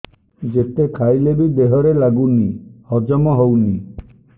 ଯେତେ ଖାଇଲେ ବି ଦେହରେ ଲାଗୁନି ହଜମ ହଉନି